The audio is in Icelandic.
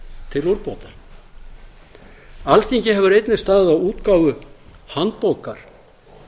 til úrbóta alþingi hefur einnig staðið að útgáfu handbókar